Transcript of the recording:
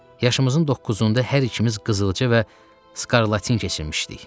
Yaşımızın doqquzunda hər ikimiz qızılca və skarlatin keçirmişdik.